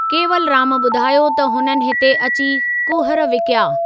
केवलराम ॿुधायो त हुननि हिते अची कुहर विकिया।